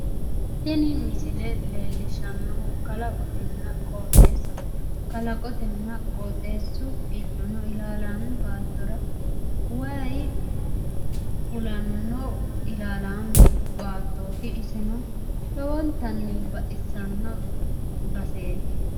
Tini misile leellishshannohu kalaqonna qooxeessaho kalaqotenna qooxeessu giddono ilaalaame baattora wayi fulanno ilaalaame baattooti iseno lowontanni baxissanno baseeti.